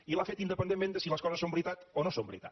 i l’ha fet independentment de si les coses són veritat o no són veritat